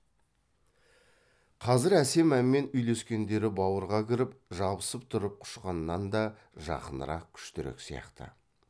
қазір әсем әнмен үйлескендері бауырға кіріп жабысып тұрып құшқаннан да жақынырақ күштірек сияқты